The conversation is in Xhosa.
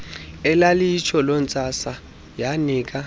elaliyitsho lontsasa yanika